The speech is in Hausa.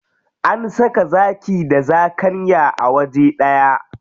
An saka zaki da zakanya a waje ɗaya.